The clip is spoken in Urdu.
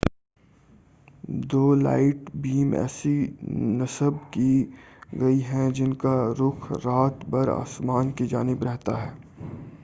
دو لائٹ بیم ایسی نصب کی گئی ہیں جن کا رخ رات بھر آسمان کی جانب رہتا ہے